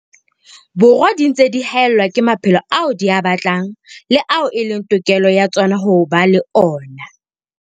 Borwa di ntse di haellwa ke maphelo ao di a batlang le ao e leng tokelo ya tsona ho ba le ona.